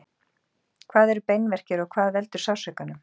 hvað eru beinverkir og hvað veldur sársaukanum